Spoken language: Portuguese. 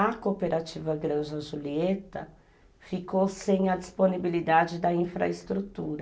A Cooperativa Granja Julieta ficou sem a disponibilidade da infraestrutura.